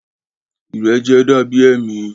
Ìrẹjẹ da bi ẹmi.